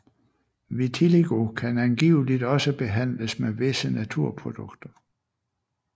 Vitiligo kan angiveligt også behandles med visse naturprodukter